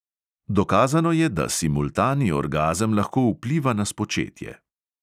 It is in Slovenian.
Dokazano je, da simultani orgazem lahko vpliva na spočetje.